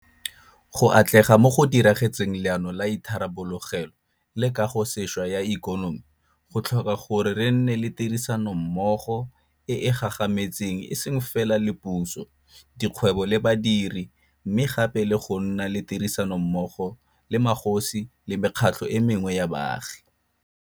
Go atlega mo go diragatseng Leano la Itharabologelo le Kagosešwa ya Ikonomi go tlhoka gore re nne le tirisa nommogo e e gagametseng e seng fela le puso, dikgwebo le badiri, mme gape le go nna le tirisanommogo le magosi le mekgatlho e mengwe ya baagi.